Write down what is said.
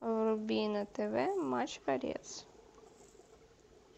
вруби на тв матч боец